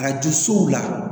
Arajo so la